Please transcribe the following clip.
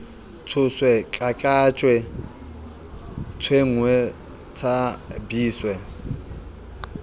tshoswe tlatlatjwe tshwengwe tsha biswe